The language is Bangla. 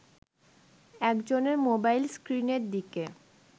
একজনের মোবাইল স্ক্রিনের দিকে